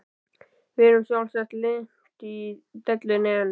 Við erum sjálfsagt lent í einni dellunni enn.